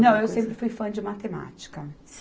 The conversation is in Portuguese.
Não, eu sempre fui fã de matemática.